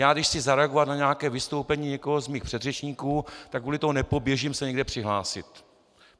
Já když chci zareagovat na nějaké vystoupení někoho z mých předřečníků, tak kvůli tomu nepoběžím se někde přihlásit.